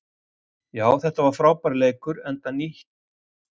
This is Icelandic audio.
Já þetta var frábær leikur enda tvö frábær lið sem vilja spila góða knattspyrnu.